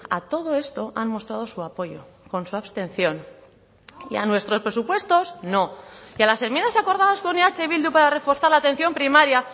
a todo esto han mostrado su apoyo con su abstención y a nuestros presupuestos no y a las enmiendas acordadas con eh bildu para reforzar la atención primaria